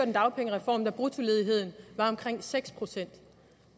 en dagpengereform da bruttoledigheden var omkring seks procent